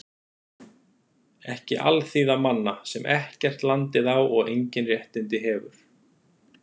Ekki alþýða manna, sem ekkert landið á og engin réttindi hefur.